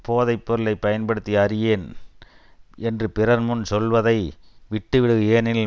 போதை பொருளை பயன்படுத்தி அறியேன் என்று பிறர்முன் சொல்வதை விட்டுவிடுக ஏனெனில்